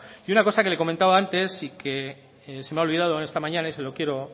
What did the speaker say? una cosa que le comentaba antes y que se me ha olvidado esta mañana y se lo quiero